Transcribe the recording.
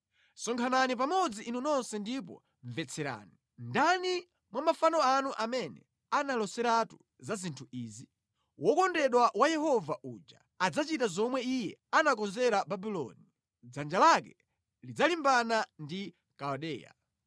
“Sonkhanani pamodzi inu nonse ndipo mvetserani: Ndani mwa mafano anu amene analoseratu za zinthu izi? Wokondedwa wa Yehova uja adzachita zomwe Iye anakonzera Babuloni; dzanja lake lidzalimbana ndi Kaldeya.